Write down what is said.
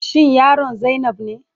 Shin yaron zainab ne?